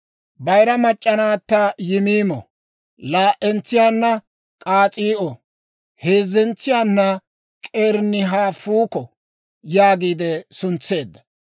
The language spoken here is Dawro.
Bayira mac'c'a naatto Yimiimo, laa"entsiyaanna K'as'ii'o, heezzentsiyaana K'erenihafuuko yaagiide suntseedda.